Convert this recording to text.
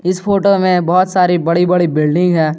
इस फोटो में बहुत सारी बड़ी बड़ी बिल्डिंग है।